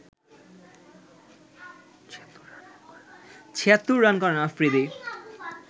৭৬ run করেন আফ্রিদি